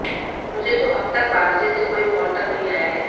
मुझे तो अब तक बालाजी से कोई कॉल तक नहीं आया है